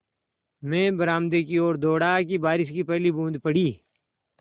मैं बरामदे की ओर दौड़ा कि बारिश की पहली बूँद पड़ी